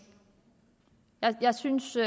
jeg synes det